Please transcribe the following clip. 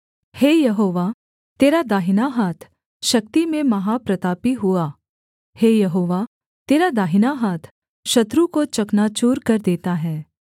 हे यहोवा तेरा दाहिना हाथ शक्ति में महाप्रतापी हुआ हे यहोवा तेरा दाहिना हाथ शत्रु को चकनाचूर कर देता है